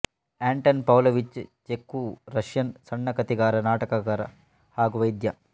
ಆಂಟನ್ Pavlovich Chekhov Russian ಸಣ್ಣ ಕಥೆಗಾರ ನಾಟಕಕಾರ ಹಾಗು ವೈದ್ಯ